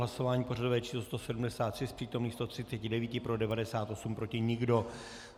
Hlasování pořadové číslo 173, z přítomných 139 pro 98, proti nikdo.